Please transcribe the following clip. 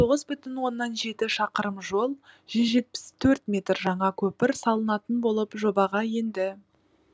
тоғыз бүтін оннан жеті шақырым жол жүз жетпіс төрт метр жаңа көпір салынатын болып жобаға енді